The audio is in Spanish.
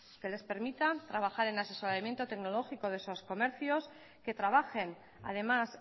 que les permita trabajar en asesoramiento tecnológico de esos comercios que trabajen además